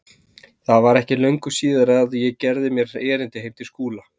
Það var ekki löngu síðar að ég gerði mér erindi heim til Skúla.